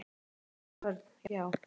Heiðar Örn: Já.